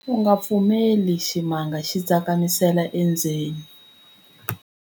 U nga pfumeleli ximanga xi tsakamisela endzeni.